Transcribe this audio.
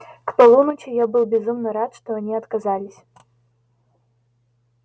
к полуночи я был безумно рад что они отказались